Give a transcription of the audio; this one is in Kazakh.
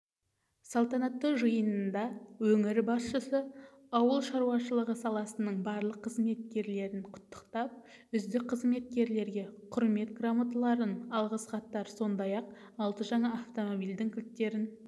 салтанатты жиында өңір басшысы ауыл шаруашылығы саласының барлық қызметкерлерін құттықтап үздік қызметкерлерге құрмет грамоталарын алғыс хаттар сондай-ақ алты жаңа автомобильдің кілттерін